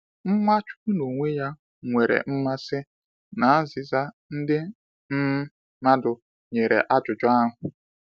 Nwachukwu n’onwe ya nwere mmasị na azịza ndị um mmadụ nyere ajụjụ ahụ.